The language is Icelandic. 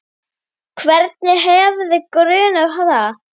Hvern hefði grunað það?